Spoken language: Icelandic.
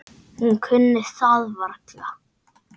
Hún kunni það varla.